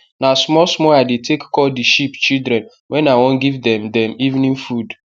na small small i dey take call the sheep children wen i wan give dem dem evening food